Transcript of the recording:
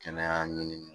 Kɛnɛya ɲini